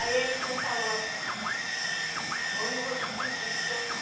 Aí ele foi falou assim, hoje eu vou te pedir do teu pai.